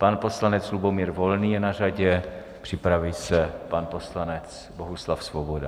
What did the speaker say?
Pan poslanec Lubomír Volný je na řadě, připraví se pan poslanec Bohuslav Svoboda.